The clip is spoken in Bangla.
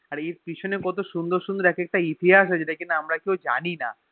আর পেছনে কত সুন্দর সুন্দর একেকটা ইতিহাস আছে যে যেটা আমরা কেও জানিনা